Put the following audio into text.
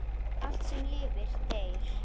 Allt, sem lifnar, deyr.